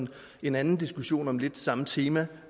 en anden diskussion om lidt det samme tema